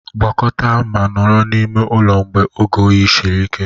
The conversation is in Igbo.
Gwakọta ma nọrọ n'ime ụlọ mgbe oge oyi siri ike